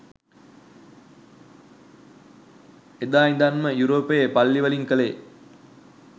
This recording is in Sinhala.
එදා ඉදන්ම යුරෝපයේ පල්ලි වලින් කලේ